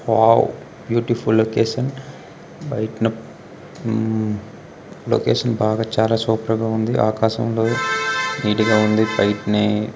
Wow beautiful location బయటన location బాగా చాలా సూపర్ గా ఉంది. ఆకాశంలో నీట్ గా ఉంది. బయటని--